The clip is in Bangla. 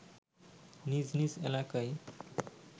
নিজ নিজ এলাকায়